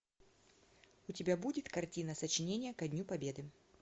у тебя будет картина сочинение ко дню победы